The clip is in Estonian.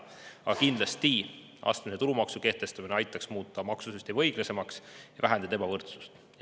Aga astmelise tulumaksu kehtestamine aitaks kindlasti muuta maksusüsteemi õiglasemaks ja vähendada ebavõrdsust.